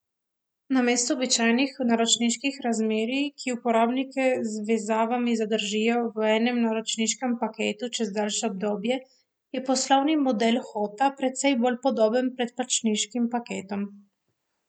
Namesto običajnih naročniških razmerij, ki uporabnike z vezavami zadržijo v enem naročniškem paketu čez daljše obdobje, je poslovni model Hota precej bolj podoben predplačniškim paketom.